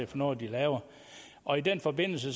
for noget de laver og i den forbindelse